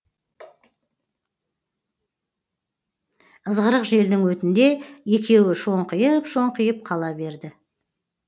ызғырық желдің өтінде екеуі шоңқиып шоңқиып қала берді